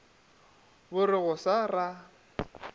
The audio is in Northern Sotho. bo re go sa ra